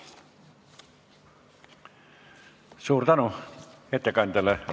Suur tänu ettekandjale!